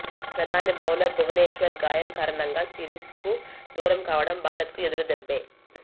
ప్రధాన బౌలర్ భువనేశ్వర్ గాయం కరాణంగా సిరీస్కు దూరం కావడం భారత్కు ఎదురు దెబ్బే